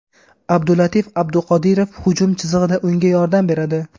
Abdulatif Abduqodirov hujum chizig‘ida unga yordam beradi.